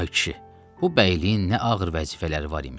Ay kişi, bu bəyliyin nə ağır vəzifələri var imiş.